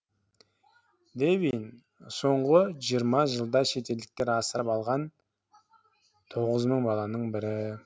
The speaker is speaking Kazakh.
дэвин соңғы жиырма жылда шетелдіктер асырап алған тоғыз мың баланың бірі